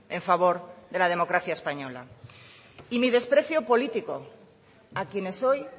en favor de la democracia española y mi desprecio político a quienes hoy